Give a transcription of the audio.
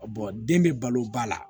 den bɛ balo ba la